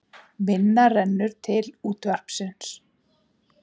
Minna rennur til útvarpsins